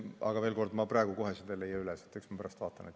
Aga veel kord: ma praegu kohe ei leia seda üles, eks ma pärast vaatan.